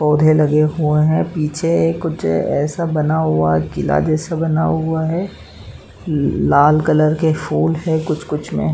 पौधे लगे हुए हैं। पीछे एक ऐसा बना हुआ है किला जैसे बना हुआ है। लाल कलर के फूल हैं कुछ-कुछ में।